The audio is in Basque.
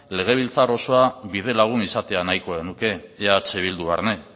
legebiltzar osoa bidelagun izatea nahiko genuke eh bildu barne